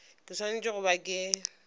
ke swanetše go ba ke